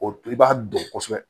O i b'a dɔn kosɛbɛ